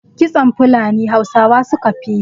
Kitson Funali Hausawa su ka fi yi